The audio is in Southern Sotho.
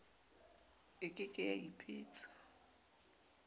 e ke ke ya ipitsa